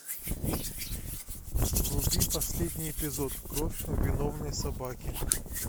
вруби последний эпизод кровь виновной собаки